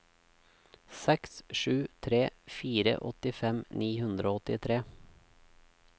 seks sju tre fire åttifem ni hundre og åttitre